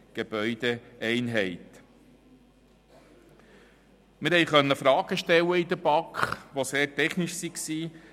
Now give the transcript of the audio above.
Wir konnten in der BaK Fragen stellen, die sehr technischer Natur waren.